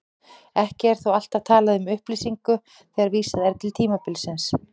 Ekki er þó alltaf talað um upplýsingu þegar vísað er til tímabilsins.